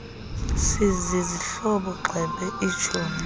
sizizihlobo gxebe itshomi